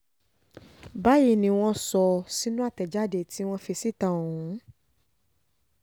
báyìí ni wọ́n sọ ọ́ sínú àtẹ̀jáde tí wọ́n fi síta ọ̀hún